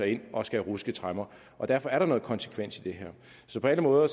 ind og skal ruske tremmer og derfor er der noget konsekvens i det her på alle måder